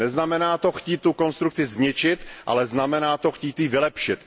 Neznamená to chtít tu konstrukci zničit, ale znamená to chtít ji vylepšit.